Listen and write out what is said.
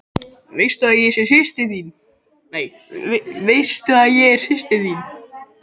Veistu að ég er systir þín.